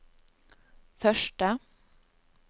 første